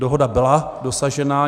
Dohoda byla dosažena.